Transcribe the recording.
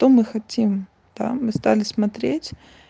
то мы хотим да мы стали смотреть